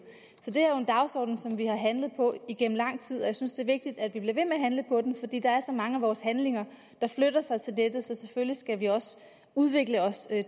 så det er jo en dagsorden som vi har handlet på igennem lang tid og jeg synes det er vigtigt at vi bliver ved med at handle på den fordi der er så mange af vores handlinger der flytter sig til nettet så selvfølgelig skal vi også udvikle os